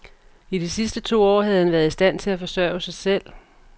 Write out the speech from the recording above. I de sidste to år havde han været i stand til at forsørge sig selv.